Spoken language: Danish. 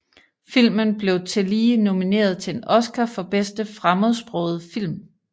Filmen blev tillige nomineret til en Oscar for bedste fremmedsprogede film